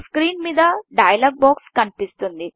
screen మీద dialogue box కనిపిస్తుంది